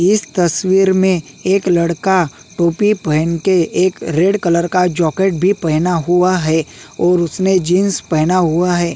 इस तस्वीर में एक लड़का टोपी पहेन के एक रेड कलर का जौकेट भी पहेना हुआ है और उसने जींस पहना हुआ है।